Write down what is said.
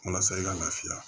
Walasa i ka lafiya